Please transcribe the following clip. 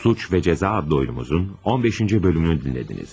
Suç və Cəza adlı oyunumuzun 15-ci bölümünü dinlədiniz.